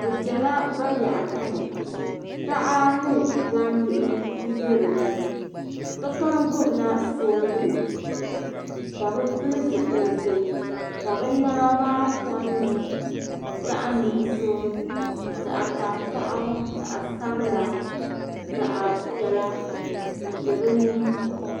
Bi ʒɛla bayaɣati ni taha ni gbambihi nbɛ dinni sokam gbubila soobuli ka bi pili zipiliti ka bi niɛma maa kom nyɛ zaŋ nuɣso zaɣ tankpaɣu ni zaɣ sabila zaɣ piɛla di bɛ dinni